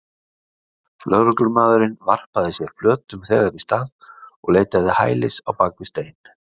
Lögreglumaðurinn varpaði sér flötum þegar í stað og leitaði hælis á bak við stein.